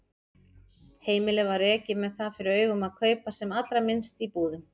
Heimilið var rekið með það fyrir augum að kaupa sem allra minnst í búðum.